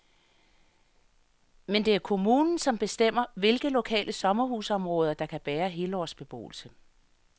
Men det er kommunen, som bestemmer, hvilke lokale sommerhusområder, der kan bære helårsbeboelse.